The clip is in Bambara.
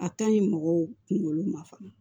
A ka ɲi mɔgɔw kunkolo ma fana